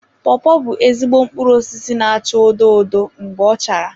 Pawpaw bụ ezigbo mkpụrụ osisi na-acha odo odo mgbe ọ chara.